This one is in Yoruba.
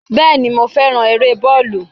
Bẹ́ẹ̀ni, mo féràn eré bọ́ọ̀lù.